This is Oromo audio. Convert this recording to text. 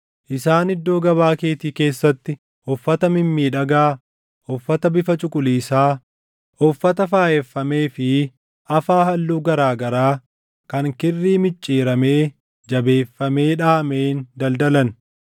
Isaan iddoo gabaa keetii keessatti uffata mimmiidhagaa, uffata bifa cuquliisaa, uffata faayeffamee fi afaa halluu garaa garaa kan kirrii micciiramee jabeeffamee dhaʼameen daldalan.